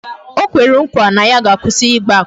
O kwere nkwa na ya ga-akwụsi Ịgba akwụna